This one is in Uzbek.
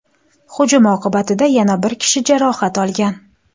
Hujum oqibatida yana bir kishi jarohat olgan.